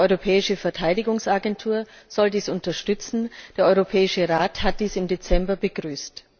Die Europäische Verteidigungsagentur soll dies unterstützen, der Europäische Rat hat dies im Dezember begrüßt.